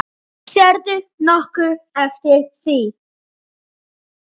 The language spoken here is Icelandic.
Sérðu nokkuð eftir því?